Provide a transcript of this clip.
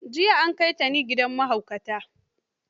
Jiya an kai Tani gidan mahaukata.